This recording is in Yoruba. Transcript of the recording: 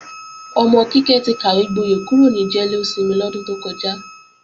Ọmọ Kíkẹ́ ti kàwégboyẹ̀ kúrò ní jẹ́lósinmi lọ́dún tó kọjá.